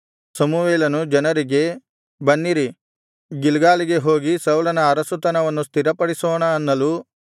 ಸಮುವೇಲನು ಜನರಿಗೆ ಬನ್ನಿರಿ ಗಿಲ್ಗಾಲಿಗೆ ಹೋಗಿ ಸೌಲನ ಅರಸುತನವನ್ನು ಸ್ಥಿರಪಡಿಸೋಣ ಅನ್ನಲು